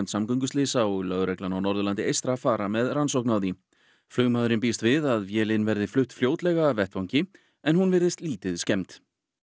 samgönguslysa og lögreglan á Norðurlandi eystra fara með rannsókn á því flugmaðurinn býst við að vélin verði flutt fljótlega af vettvangi en hún virðist lítið skemmd